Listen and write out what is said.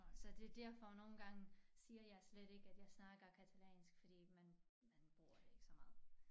Så det derfor nogle gange siger jeg slet ikke at jeg snakker katalansk fordi man man bruger det ikke så meget